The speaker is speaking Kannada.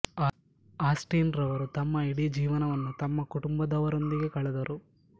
ಆಸ್ಟಿನ್ ರವರು ತಮ್ಮ ಇಡೀ ಜೀವನವನ್ನು ತಮ್ಮ ಕುಟುಂಬದವರೊಂದಿಗೆ ಕಳೆದರು